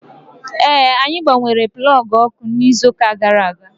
Ee, anyị gbanwere plọọgụ ọkụ n'izu gara aga